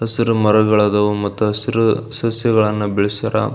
ಹಸಿರು ಮರಗಳು ಆದವು ಮತ್ತು ಹಸಿರು ಸಸ್ಯಗಳನ್ನು ಬೆಳೆಸರ.